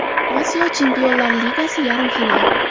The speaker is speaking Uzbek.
Osiyo Chempionlar Ligasi Yarim final.